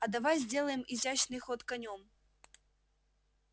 а давай сделаем изящный ход конём